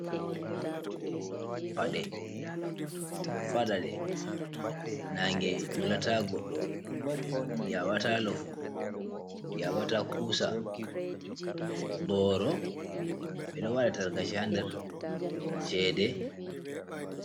"Pade ɓeɗo faɗa ɗe nange wulata goɗɗo yaɓata lofu yaɓata kusa boro ɓeɗo waɗa tarkache ha nder cheɗe.